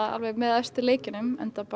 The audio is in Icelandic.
með efstu leikjunum enda